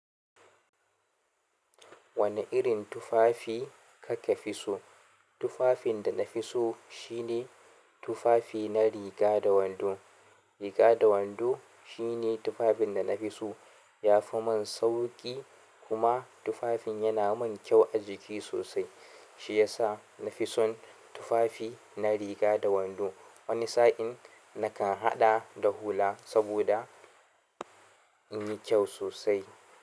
Wani irin tufafi kake fi so? Tufafin da na fi so shine tufafi na riga da wando. Riga da wando shine tufafin da na fi so. Ya fi min sauƙi kuma tufafin yana mun kyau a jiki sosai. Shi ya sa na fi son tufafi na riga da wando. Wani sa'in na kan haɗa da hula saboda in yi kyau sosai.